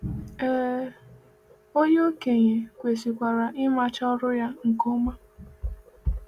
Ee, onye okenye kwesịkwara imecha ọrụ ya nke ọma.